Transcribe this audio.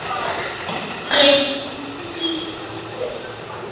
Ég skýst burt.